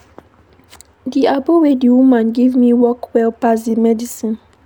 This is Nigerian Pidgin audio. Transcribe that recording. Di agbo wey di woman give me work well pass dis medicine.